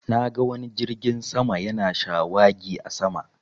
Na ga wani jirgin sama yana shawagi a sama